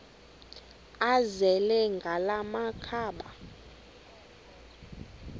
azele ngala makhaba